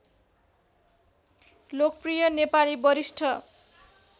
लोकप्रिय नेपाली वरिष्ठ